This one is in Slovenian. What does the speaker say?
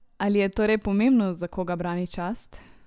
Ali je torej pomembno, za koga brani čast?